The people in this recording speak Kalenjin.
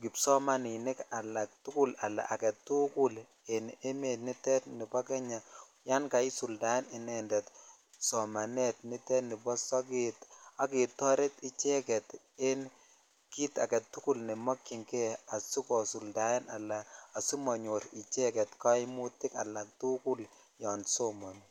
kipsomaninik alatugul ala agetukul en emet nutet nibo Kenya yan kaisuldaen inended somanitet nibo sokat ak ketoret icheget en kit agetukul nemokyin kei asikosuldaen ala asimonyor icheget kaimutik alatukul yon somoni.